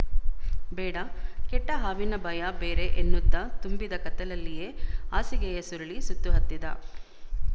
ಬೇಡ ಕೆಟ್ಟ ಹಾವಿನ ಭಯ ಬೇರೆ ಎನ್ನುತ್ತ ತುಂಬಿದ ಕತ್ತಲಲ್ಲಿಯೇ ಹಾಸಿಗೆಯ ಸುರುಳಿ ಸುತ್ತಹತ್ತಿದ